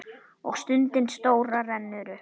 Og stundin stóra rennur upp.